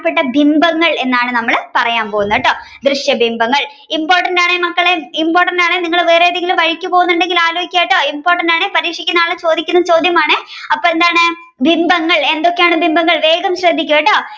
ബിംബങ്ങൾ എന്നാണ് നമ്മൾ പറയാൻ പോകുന്നത് കേട്ടോ ദൃശ്യബിംബങ്ങൾ important ആൺ മക്കളെ important ആൺ നിങ്ങൾ വേറെ ഏതെങ്കിലും പരീക്ഷക്ക് പോകുകയാണെങ്കിൽ ആലോചിക്കുക കേട്ടോ പരീക്ഷക്ക് നാളെ ചോദിക്കുന്ന ചോദ്യമാണ് അപ്പൊ എന്താണ് ബിംബങ്ങൾ എന്തൊക്കെയാണ് ബിംബങ്ങൾ വേഗം ശ്രദ്ധിക്കൂ കേട്ടോ